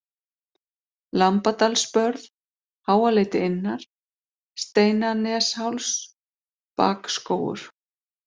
Lambadalsbörð, Háaleiti innar, Steinanesháls, Bakskógur